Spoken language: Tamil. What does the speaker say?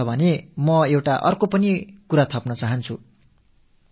உடல்நலம் பற்றி நாம் பேசும் போது இதில் மேலும் ஒரு விஷயத்தை நான் இணைக்க விரும்புகிறேன்